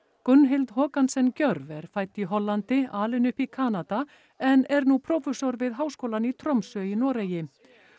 Gjörv er fædd í Hollandi alin upp í Kanada en er nú prófessor við háskólann í Tromsö í Noregi